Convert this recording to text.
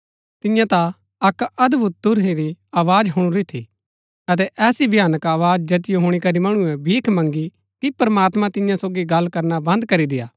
तिन्ये ता अक्क अदभुत तुरही री आवाज हुणुरी थी अतै ऐसी भयानक आवाज जैतिओ हुणी करी मणुऐ भीख मँगी की प्रमात्मां तिन्या सोगी गल्ल करना बंद करी देय्आ